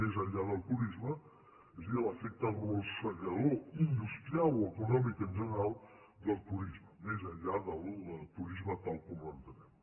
més enllà del turisme és a dir l’efecte arrossegador industrial o econòmic en general del turisme més enllà del turisme tal com l’entenem